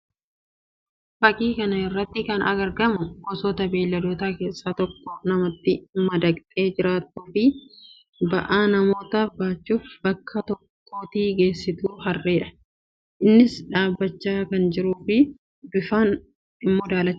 Fakkii kana irratti kan argamu gosoota beeyladootaa keessaa kan namatti madaqxee jiraattuu fi ba'aa namootaaf baachuun bakkaa bakkatti geessitu Harree dha. Innis dhaabbachaa kan jiruu fi bifaan immoo daalachaa dha.